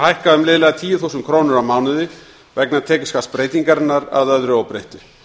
hækka um liðlega tíu þúsund krónur á mánuði vegna tekjuskattsbreytingarinnar að öðru óbreyttu